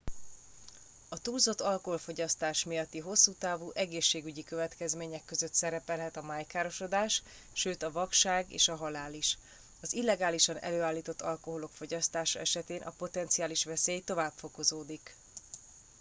a túlzott alkoholfogyasztás miatti hosszútávú egészségügyi következmények között szerepelhet a májkárosodás sőt a vakság és a halál is az illegálisan előállított alkoholok fogyasztása esetén a potenciális veszély tovább fokozódik